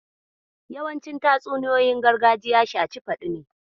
Yawancin tatsuniyoyin gargajiya shaci faɗi ne.